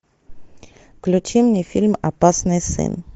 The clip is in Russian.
включи мне фильм опасный сын